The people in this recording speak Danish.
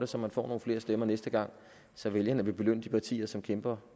så man får nogle flere stemmer næste gang så vælgerne vil belønne de partier som kæmper